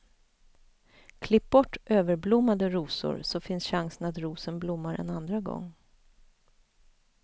Klipp bort överblommade rosor, så finns chansen att rosen blommar en andra gång.